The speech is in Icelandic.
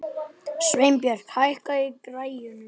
Sveinberg, hækkaðu í græjunum.